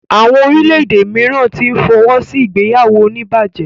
Àwọn orílè-èdè míràn tí n fọwọsi ìgbéyàwó onibaje.